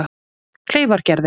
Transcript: Kleifargerði